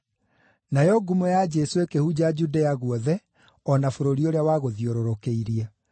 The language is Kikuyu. Nayo ngumo ya Jesũ ĩkĩhunja Judea guothe o na bũrũri ũrĩa wagũthiũrũrũkĩirie.